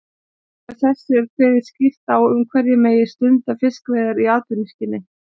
Með þessu er kveðið skýrt á um hverjir megi stunda fiskveiðar í atvinnuskyni.